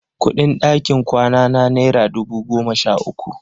Kuɗin ɗakin kwanana naira dubu goma sha uku.